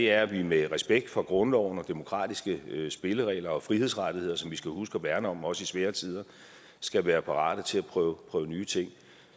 at vi med respekt for grundloven og demokratiske spilleregler og frihedsrettigheder som vi skal huske at værne om også i svære tider skal være parate til at prøve nye ting